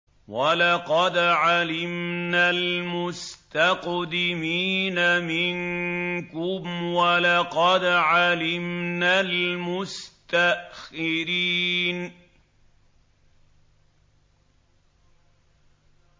وَلَقَدْ عَلِمْنَا الْمُسْتَقْدِمِينَ مِنكُمْ وَلَقَدْ عَلِمْنَا الْمُسْتَأْخِرِينَ